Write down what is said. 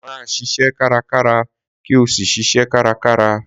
Máa ṣiṣẹ́ kárakára kí o sì ṣiṣẹ́ kárakára